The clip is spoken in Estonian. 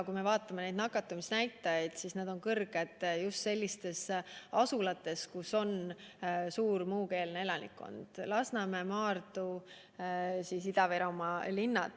Kui me vaatame nakatumisnäitajaid, siis need on kõrged just sellistes asulates, kus on suur muukeelne kogukond: Lasnamäe, Maardu, Ida-Virumaa linnad.